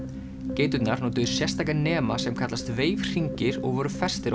geiturnar notuðu sérstaka nema sem kallast Wave hringir og voru festir á